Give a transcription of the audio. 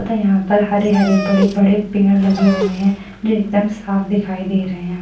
पता है यहाँ पर हरे-हरे बड़े-बड़े पेड़ लगे हुए हैं जो एकदम साफ दिखाई दे रहे हैं।